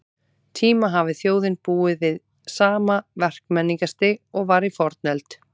tíma hafi þjóðin búið við sama verkmenningarstig og var í fornöld.